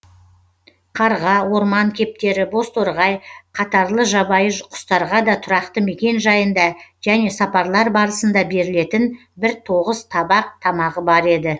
қарға орман кептері бозторғай қатарлы жабайы құстарға да тұрақты мекен жайында және сапарлар барысында берілетін бір тоғыз табақ тамағы бар еді